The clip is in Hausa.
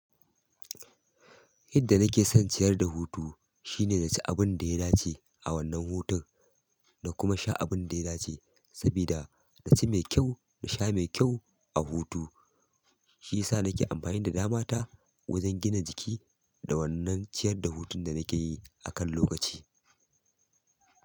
Yadda nake son ciyar da hutu shine na ci abun da ya dace a wannan hutun da kuma sha abun da ya dace sabida na ci mai kyau na sha mai kyau a hutu shi ya sa nake amfani da damata wajen gina jiki da wannan ciyar da hutun da nake yi akan lokaci.